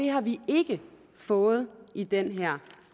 har vi ikke fået i den her